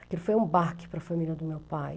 Aquilo foi um baque para a família do meu pai.